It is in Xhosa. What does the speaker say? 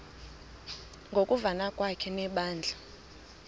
ngokuvana kwakhe nebandla